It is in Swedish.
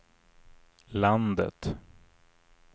landet